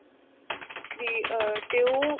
ਵੀ ਆ ਤੇ ਉਹ